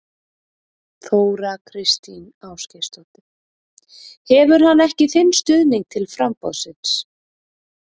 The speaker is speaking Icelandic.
Þóra Kristín Ásgeirsdóttir: Hefur hann ekki þinn stuðning til framboðsins?